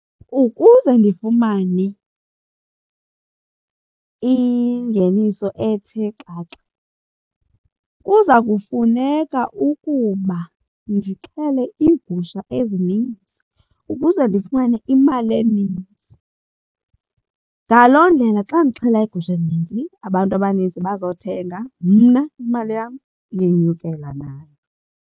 Ukuze ndifumane ingeniso ethe xaxa kuza kufuneka ukuba ndixhele iigusha ezininzi ukuze ndifumane imali eninzi. Ngaloo ndlela xa ndixhela iigusha ezinintsi abantu abaninzi bazothenga mna imali yam iyenyukela nayo.